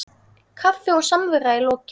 Kaffi og samvera í lokin.